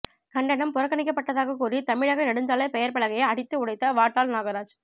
கன்னடம் புறக்கணிக்கப்பட்டதாக கூறி தமிழக நெடுஞ்சாலை பெயர்பலகையை அடித்து உடைத்த வாட்டாள் நாகராஜ்